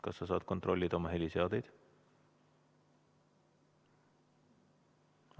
Kas sa saad kontrollida oma heliseadeid?